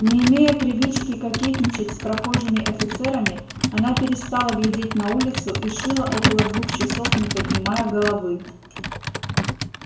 не имея привычки кокетничать с прохожими офицерами она перестала глядеть на улицу и шила около двух часов не поднимая головы